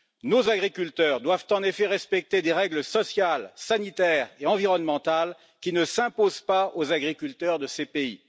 Nos agriculteurs doivent en effet respecter des règles sociales, sanitaires et environnementales qui ne s'imposent pas aux agriculteurs de ces pays.